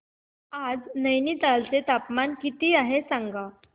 आज नैनीताल चे तापमान किती आहे सांगा